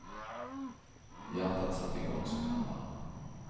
Hjärtat satte igång som en hammare.